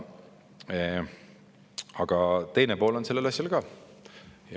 Aga teine pool on sellel asjal ka.